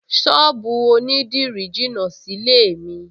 Ṣọ́ọ̀bù onídìrí jìnà sílé-è mi